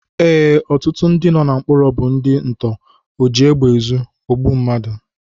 Ee, ọtụtụ ndị nọ na mkpọrọ bụ ndị nto, ojiegbeezu, ogbu mmadu